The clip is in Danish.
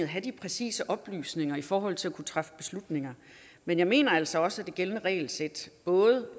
have de præcise oplysninger i forhold til at kunne træffe beslutninger men jeg mener altså også at det gældende regelsæt